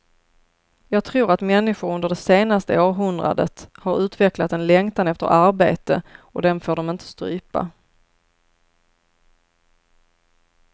Jag tror att människor under det senaste århundradet har utvecklat en längtan efter arbete, och den får de inte strypa.